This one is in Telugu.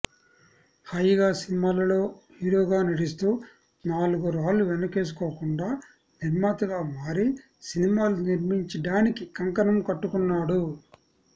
హాయిగా సినిమాలలో హీరోగా నటిస్తూ నాలుగు రాళ్లు వెనకేసుకోకుండా నిర్మాతగా మారి సినిమాలు నిర్మించడానికి కంకణం కట్టుకుంటున్నాడు